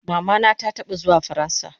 Mama na ta taba zuwa faransa